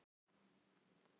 Jón Ólafur var hugsi.